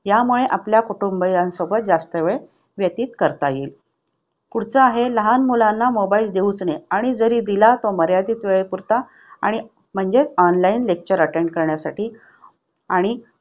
त्यामुळे आपल्या कुटुंबियांसोबत जास्त वेळ व्यतीत करता येईल. पुढचा आहे लहान मुलांना mobile देऊ नये. आणि जरी दिला तो मर्यादित वेळ पुरता आणि म्हणजेच online lecture attend करण्यासाठी आणि